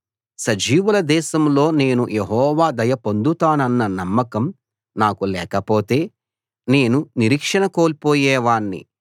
సజీవుల దేశంలో నేను యెహోవా దయ పొందుతానన్న నమ్మకం నాకు లేకపోతే నేను నిరీక్షణ కోల్పోయేవాణ్ణి